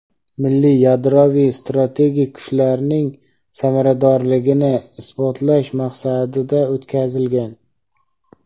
"milliy yadroviy strategik kuchlarning samaradorligini" isbotlash maqsadida o‘tkazilgan.